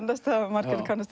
margar kannast